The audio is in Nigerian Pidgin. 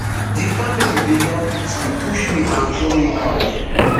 [di family] bin don beat me push me and throw me out